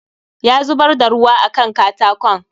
Ya zubar da ruwa a Kan katakon